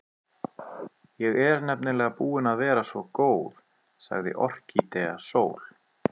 Ég er nefnilega búin að vera svo góð, sagði Orkídea Sól.